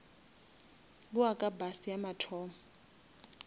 bowa ka bus ya mathomo